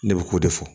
Ne bɛ k'o de fɔ